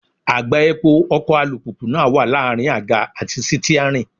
Àgbá epo ọkọ̀ alùpùpù náà wà láàrin àga àti sítíárìn.